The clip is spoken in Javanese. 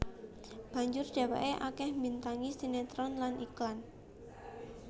Banjur dheweke akeh mbintangi sinetron lan iklan